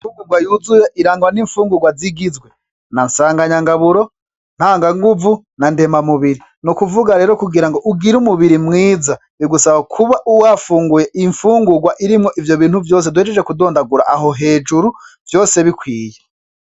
Ifungurwa yuzuye irangwa n'infungurwa zigizwe na sanganyangaburo, ntanganguvu na ndemamubiri, n'ukuvuga rero kugira ngo ugire umubiri mwiza, bigusaba kuba wafunguye infungurwa irimwo ivyo bintu vyose duhejeje kudondangura aho hejuru vyose bikwiye.